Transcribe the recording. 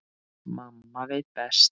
Mamma veit best.